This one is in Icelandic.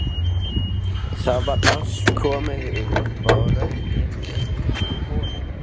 Það var allt komið upp á rönd inni í honum!